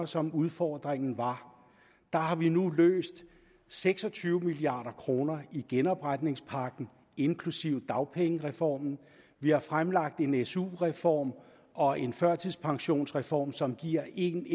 som udfordringen var har vi nu løst seks og tyve milliard kroner med genopretningspakken inklusive dagpengereformen vi har fremlagt en su reform og en førtidspensionsreform som giver en